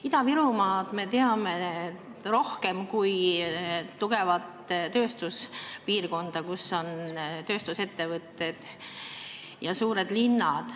Ida-Virumaad me teame rohkem kui tugevat tööstuspiirkonda, kus on tööstusettevõtted ja suured linnad.